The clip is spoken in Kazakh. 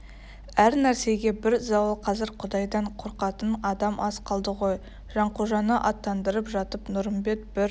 әр нәрсеге бір зауал қазір құдайдан қорқатын адам аз қалды ғой жанқожаны аттандырып жатып нұрымбет бір